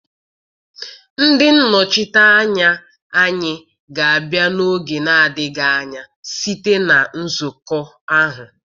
Ndị nnọchiteanya anyị ga-abịa n'oge na-adịghị anya site na nzukọ ahụ.